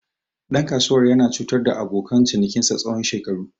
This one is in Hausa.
Ɗan kasuwar yana cutar da abokan cinikinsa tsawon shekaru.